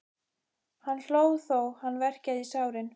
Hann hló þó hann verkjaði í sárin.